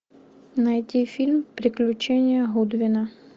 найти фильм приключения гудвина